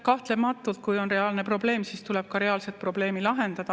Kahtlematult, kui on reaalne probleem, siis tuleb ka reaalset probleemi lahendada.